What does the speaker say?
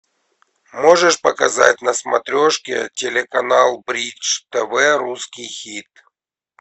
можешь показать на смотрешке телеканал бридж тв русский хит